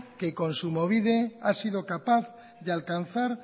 que kontsumobide ha sido capaz de alcanzar